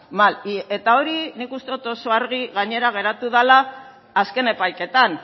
mal eta hori nik uste dut oso argi gainera geratu dela azken epaiketan